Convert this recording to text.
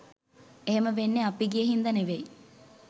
එහෙම වෙන්නේ අපි ගිය හින්දා ‍නෙවෙයි